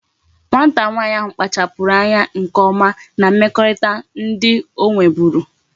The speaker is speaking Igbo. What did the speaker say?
Nwata nwanyi ahu kpachapuru anya nke oma na mmekọrịta ndi o nweburu